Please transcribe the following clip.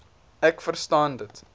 ek verstaan dat